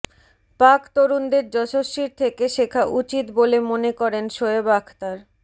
পাক তরুণদের যশস্বীর থেকে শেখা উচিত বলে মনে করেন শোয়েব আখতার